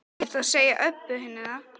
Ekkert að segja Öbbu hinni það.